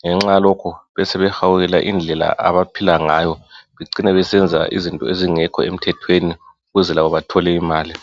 .Ngenxa yalokhu besebehawukela indlela abaphilangayo becine besenza izinto ezingekho emthethweni ukuze labo bathole imali .